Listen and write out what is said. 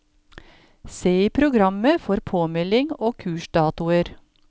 Se i programmet for påmelding og kursdatoer.